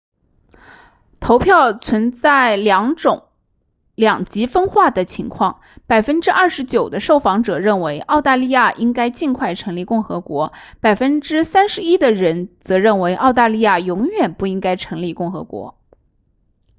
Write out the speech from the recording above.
投票存在两极分化的情况 29% 的受访者认为澳大利亚应该尽快成立共和国 31% 的人则认为澳大利亚永远不应该成立共和国